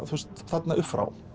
þarna uppfrá